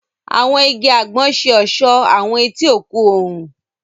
Àwọn ìgi àgbon ṣe ọṣọ awọn eti òkun oòrùn.